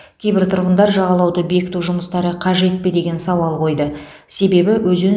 кейбір тұрғындар жағалауды бекіту жұмыстары қажет пе деген сауал қойды себебі өзен